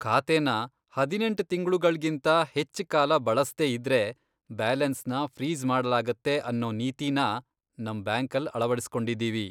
ಖಾತೆನ ಹದಿನೆಂಟ್ ತಿಂಗ್ಳುಗಳ್ಗಿಂತ ಹೆಚ್ಚ್ ಕಾಲ ಬಳಸ್ದೇ ಇದ್ರೆ ಬ್ಯಾಲೆನ್ಸ್ನ ಫ್ರೀಜ್ ಮಾಡ್ಲಾಗತ್ತೆ ಅನ್ನೋ ನೀತಿನ ನಮ್ ಬ್ಯಾಂಕಲ್ ಅಳವಡಿಸ್ಕೊಂಡಿದೀವಿ.